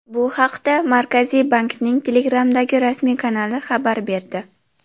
Bu haqda Markaziy bankning Telegram’dagi rasmiy kanali xabar berdi .